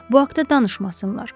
Bu haqda danışmasınlar.